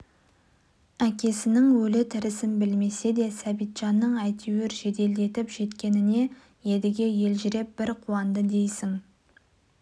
әкесінің өлі тірісін білмесе де сәбитжанның әйтеуір жеделдетіп жеткеніне едіге елжіреп бір қуанды дейсің